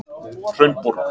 Hraunborg